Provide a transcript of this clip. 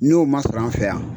N'o ma sɔrɔ an fɛ yan,